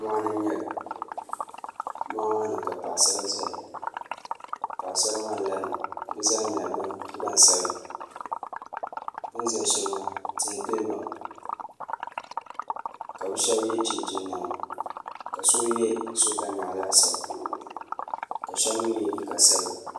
Moɣani n nyɛli moɣu maani ka Paɣasara zaya Paɣasara maa larimi bɛ zaa nyɛla gbansabla bini za sheli maa tihi gilibami ka bɛ sheba ye chinchini niɛma ka so ye sokanyaɣi laasabu ka sheba mee ye liiga sabila.